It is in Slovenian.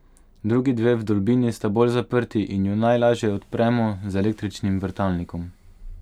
Drugi dve vdolbini sta bolj zaprti in ju najlažje odpremo z električnim vrtalnikom.